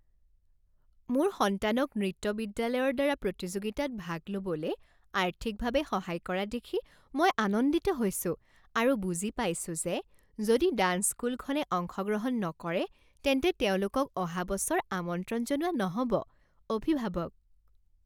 মোৰ সন্তানক নৃত্য বিদ্যালয়ৰ দ্বাৰা প্ৰতিযোগিতাত ভাগ ল'বলে আৰ্থিকভাৱে সহায় কৰা দেখি মই আনন্দিত হৈছো আৰু বুজি পাইছো যে যদি ডাঞ্চ স্কুলখনে অংশগ্ৰহণ নকৰে তেন্তে তেওঁলোকক অহা বছৰ আমন্ত্ৰণ জনোৱা নহ 'ব। অভিভাৱক